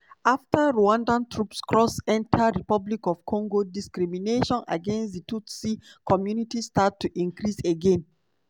afta rwanda troops cross enta dr congo discrimination against di tutsi community start to increase again.